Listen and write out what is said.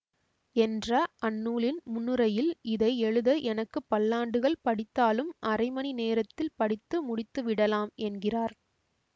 என்ற அந்நூலின் முன்னுரையில் இதை எழுத எனக்கு பல்லாண்டுகள் பிடித்தாலும் அரைமணி நேரத்தில் படித்து முடித்துவிடலாம் என்கிறார்